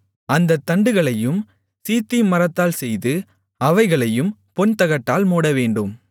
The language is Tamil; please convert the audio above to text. அந்தத் தண்டுகளையும் சீத்திம் மரத்தால் செய்து அவைகளையும் பொன்தகட்டால் மூடவேண்டும்